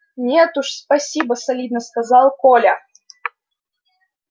нет уж спасибо солидно сказал коля